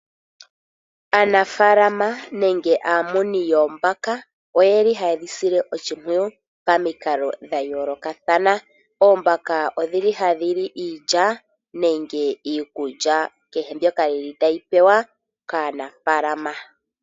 Aanafalama nenge aamuni yoombaka Oye li haye dhi sile oshipwiyu pamikalo dha yolokathana. Oombaka odhili hadhili iilya nenge iikulya kehe mbyoka yili tadhi pewa kaAnafalama.